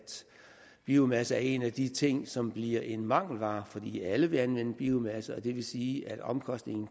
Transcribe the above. biomasse er en af de ting som bliver en mangelvare fordi alle vil anvende biomasse og det vil sige at omkostningen